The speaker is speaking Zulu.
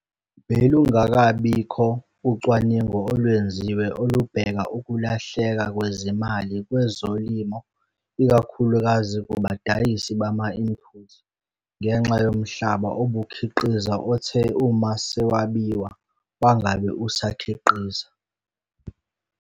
Belungakabikho ucwaningo olwenziwe olubheka ukulahleka kwezimali kwezolimo ikakhulukazi kubadayisi bama-input ngenxa yomhlaba obukhiqiza othe uma sewabiwa wangabe usakhiqiza.